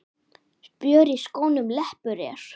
Spjör í skónum leppur er.